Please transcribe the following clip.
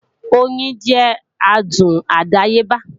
Oyin jẹ́ adùn àdáyébá